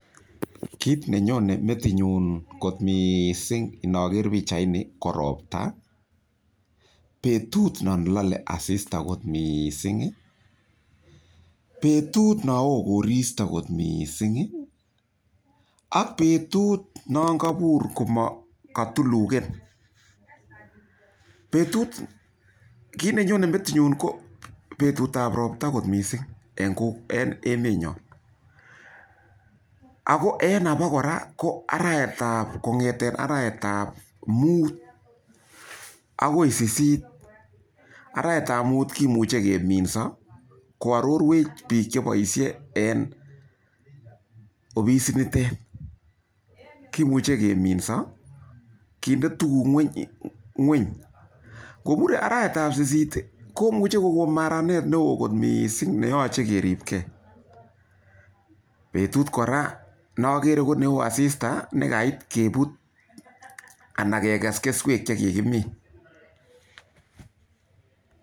Kit ne nyone metitnyu kot missing' inaker pichaini ko ropta, petut nan lale asista missing', petut na oo korista kot missing' ak petut nan kapur ko katulugen. Kit ne nyone metitnyu ko petut ap ropata kot missing' en emenyon. Ako en apa kora, kong'et arawet ap mut akoi sisit. Arawet ap mut ko muchi keminsa ko arorwech pik chepoishe eng' ofisinitet. Kimuchi keminsa, kinde tuguk ng'weny. Kopur arawetap sisit ko muchi ko kon maranet ne oo kot missing' ne yache keripgei. Petut kora ne akere ko ne oo asista, petut ne kait keput anan kekes keswek che kikimin.